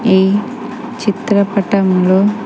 ఈ చిత్రపటంలో--